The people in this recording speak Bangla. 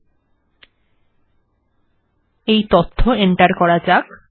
তাহলে এই তথ্য এন্টার্ করা বা দেওয়া যাক